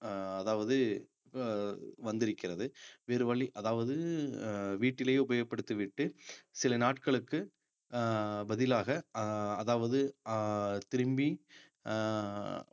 அஹ் அதாவது அஹ் வந்திருக்கிறது வேறு வழி அதாவது அஹ் வீட்டிலேயே உபயோகப்படுத்திவிட்டு சில நாட்களுக்கு அஹ் பதிலாக அஹ் அதாவது அஹ் திரும்பி அஹ்